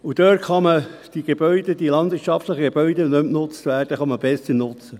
Dort kann man die landwirtschaftlichen Gebäude, die nicht mehr genutzt werden, besser nutzen.